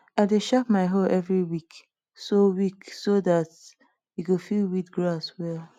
i dey sharp my hoe every week so week so dat e go fit weed grass well